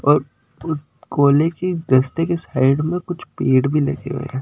और कोले के दस्ते के साइड में कुछ पेड़ भी लगे हुए हैं।